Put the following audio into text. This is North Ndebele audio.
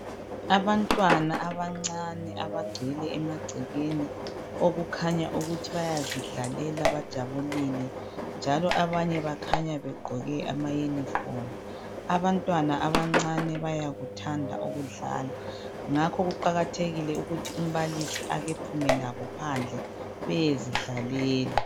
Abantwana abancane abagcwele amagcekeni okukhanya ukuthi bayazidlalela bajabulile njalo abanye bakhanya begqoke amayunifomu. Abantwana abancane bayakuthanda ukudlala. Ngakho kuqakathekile ukuthi umbalisi ekephume labo phandle beyezidlalela.